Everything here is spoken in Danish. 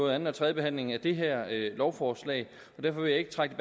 anden og tredje behandling af det her lovforslag derfor vil jeg ikke trække